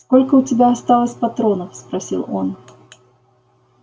сколько у тебя осталось патронов спросил он